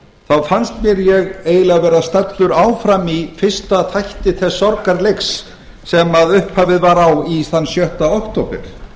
þá fannst mér ég eiginlega vera staddur áfram í fyrsta þætti þess sorgarleiks sem upphafið var á þann sjötta október